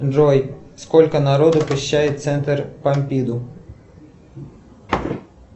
джой сколько народу посещает центр помпиду